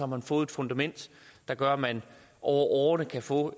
man fået et fundament der gør at man over årene kan få